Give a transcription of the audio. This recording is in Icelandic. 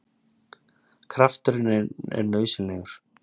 Krafturinn er nauðsynlegur!